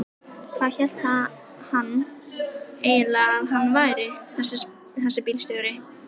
Hvað hélt hann eiginlega að hann væri þessi bílstjóri.